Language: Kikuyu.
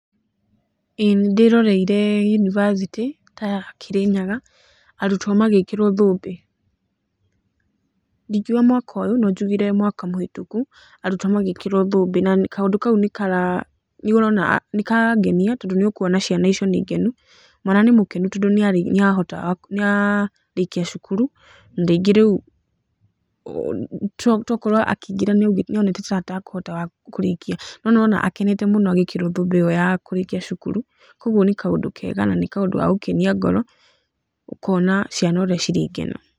Ĩĩ nĩ ndĩroreire yunivacitĩ ta ya Kĩrĩnyaga arutwo magĩkĩrwo thũmbĩ, ndingiuga mwaka ũyũ no njugire mwaka mũhitũku, arutwo magĩkĩrwo thũmbĩ na kaũndũ kau nĩ karangenia tondũ nĩ ũkuona ciana icio nĩ ngenu, mwana nĩ mũkenu tondũ nĩ arĩkia cukuru, na rĩngĩ rĩu, tokorwo akĩingĩra nĩ onete ta atekũhota kũrĩkia, no nĩ wona akenete mũno akĩhumbwo thũmbĩ ĩyo ya kũrĩkia cukuru, koguo nĩ kaũndũ kega na nĩ kaũndũ gagũkenia ngoro, ũkona ciana ũrĩa cirĩ ngenu.